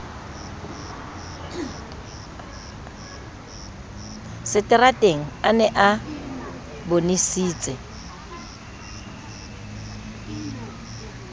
seterateng a ne a bonesitse